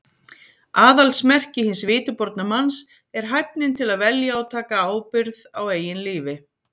Aðalsmerki hins vitiborna manns er hæfnin til að velja og taka ábyrgð á eigin lífi.